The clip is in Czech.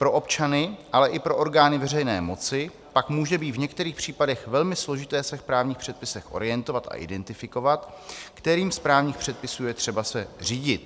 Pro občany, ale i pro orgány veřejné moci pak může být v některých případech velmi složité se v právních předpisech orientovat a identifikovat, kterým z právních předpisů je třeba se řídit.